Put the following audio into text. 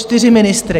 Čtyři ministry.